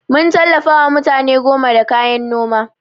Mun tallafawa mutane goma da kayan Noma.